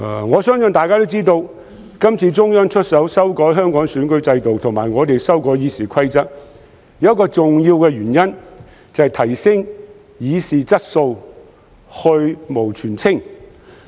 我相信大家也知道，今次中央出手修改香港選舉制度以及我們修改《議事規則》有一個重要的原因，就是提升議事質素，去蕪存菁。